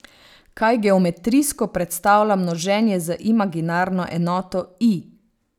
Kaj geometrijsko predstavlja množenje z imaginarno enoto i?